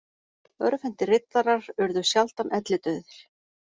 Örvhentir riddarar urðu sjaldan ellidauðir.